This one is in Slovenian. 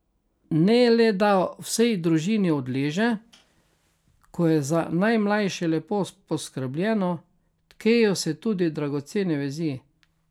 Ne le da vsej družini odleže, ko je za najmlajše lepo poskrbljeno, tkejo se tudi dragocene vezi.